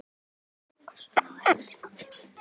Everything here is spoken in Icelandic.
að vera að ganga svona á eftir manni.